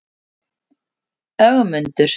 Ögmundur